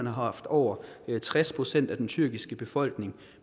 haft over tres procent af den tyrkiske befolkning